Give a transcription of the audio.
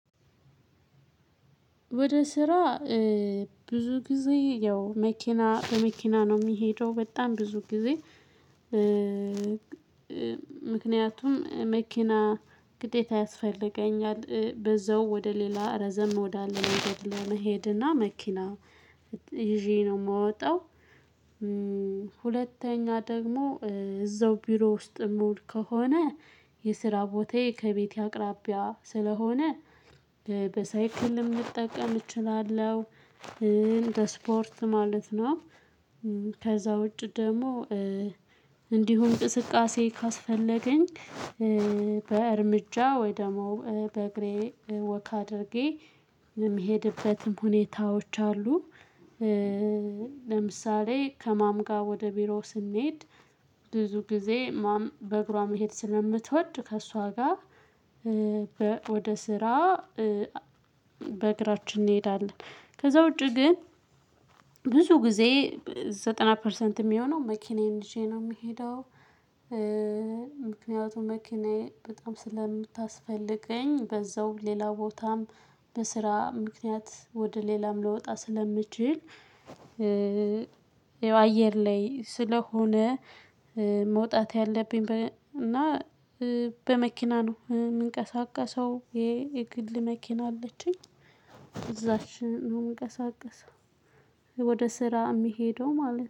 ወደ ስራ ብዙ ጊዜ ያው መኪና በመኪና ነው የሚሄደው በጣም ብዙ ጊዜ። ምክንያቱም መኪና ግዴታ ያስፈልገኛል በዚያው ወደ ሌላ ረዘም ወዳለ መንገድ ለመሄድና መኪና ይዤ ነው የምወጣው። ሁለተኛ ደግሞ እዛው ቢሮ ውስጥ የምውል ከሆነ የስራ ቦታዬ ከቤቴ አቅራቢያ ስለሆነ በሳይክል ልጠቀም እችላለሁ እንደ ስፖርት ማለት ነው። ከዚያ ውጪ ደግሞ እንዲሁ እንቅስቃሴ ካስፈለገኝ በእርምጃ ወይ ደግሞ በእግሬ ወክ አድርጌ የምሄድበትም ሁኔታዎች አሉ። ለምሳሌ ከማም ጋር ወደ ቢሮ ስንሄድ ብዙ ጊዜ ማም በእግሯ መሄድ ስለምትወድ ከእሷ ጋር ወደ ስራ በእግራችን እንሄዳለን። ከዚያ ውጪ ግን ብዙ ጊዜ ዘጠና ፐርሰንት የሚሆነው መኪናዬን ይዤ ነው የምሄደው። ምክንያቱም መኪናዬ በጣም ስለምታስፈልገኝ በዚያው ሌላ ቦታም በስራ ምክንያት ወደ ሌላም ልወጣ ስለምችል። ያው አየር ላይ ስለሆነ። መውጣት ያለብኝ እና በመኪና ነው የምንቀሳቀሰው ይሄ የግል መኪና አለችኝ ይዥት ነው የምንቀሳቀሰው። ወደ ስራ የሚሄደው ማለት ነው